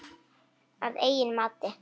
Að eigin mati.